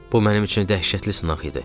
Bu mənim üçün dəhşətli sınaq idi.